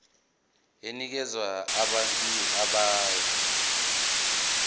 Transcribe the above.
enikeza abantu ababuya